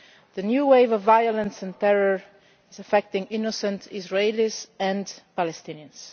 The new wave of violence and terror is affecting innocent Israelis and Palestinians.